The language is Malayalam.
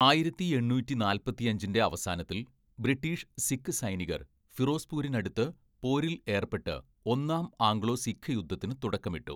ആയിരത്തി എണ്ണൂറ്റി നാൽപ്പത്തിയഞ്ചിൻ്റെ അവസാനത്തിൽ, ബ്രിട്ടീഷ്, സിഖ് സൈനികർ ഫിറോസ്പൂരിനടുത്ത് പോരിൽ ഏർപ്പെട്ട് ഒന്നാം ആംഗ്ലോ സിഖ് യുദ്ധത്തിന് തുടക്കമിട്ടു.